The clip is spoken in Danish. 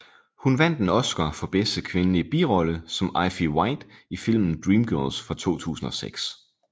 Hun vandt en Oscar for bedste kvindelige birolle som Effie White i filmen Dreamgirls fra 2006